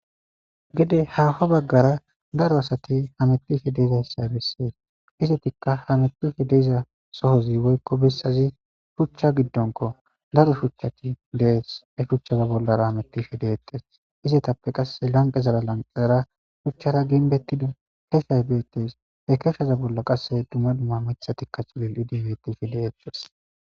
Gede haaho bagara daro asati hametishe duzaysa bessees. Izetika hametishe dizay shuchcha giddonko. Daro shuchchat dees. He shuchcha gidora hametishe deetes. Izetappe qasse lanqera lanqera shuchchara ginbetidi kechay beetees. He kecha bollara qasse dumma dumma mithatika dolidi deetees.